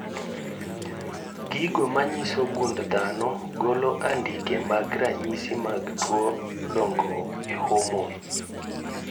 Gigo manyiso gund dhano golo andike mag ranyisi mag tuo dongruok e homon